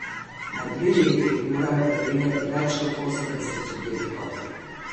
Na dve leti morajo pregledati več kot osemdeset subjektov.